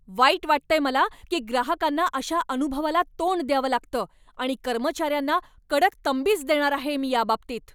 वाईट वाटतंय मला की ग्राहकांना अशा अनुभवाला तोंड द्यावं लागतं आणि कर्मचाऱ्यांना कडक तंबीच देणार आहे मी याबाबतीत.